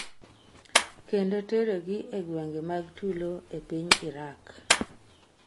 kendo tero gi e gwenge mag tulo e piny Iraq